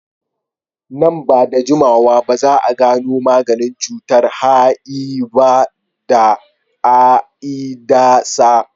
Nan ba da jimawa za su gano maganin cutar HIV da AIDS.